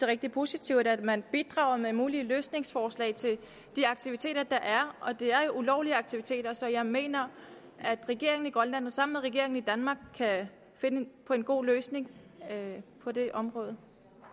rigtig positivt at man bidrager med mulige løsningsforslag til de aktiviteter der er og det er jo ulovlige aktiviteter så jeg mener at regeringen i grønland sammen med regeringen i danmark kan finde en god løsning på det område